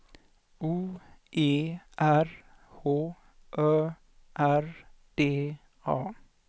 O E R H Ö R D A